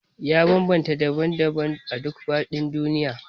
Ya bambanta daban-daban a duk faɗin duniya